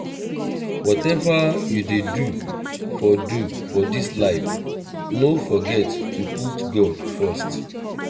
whatever you dey do for do for dis life no forget to put god first